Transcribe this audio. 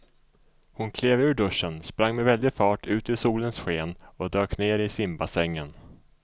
Hon klev ur duschen, sprang med väldig fart ut i solens sken och dök ner i simbassängen.